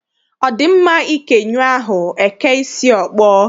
Ọ dị mma ike nyụọ ahụ, e kee isi ọkpọ?